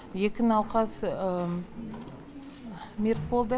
екі науқас мерт болды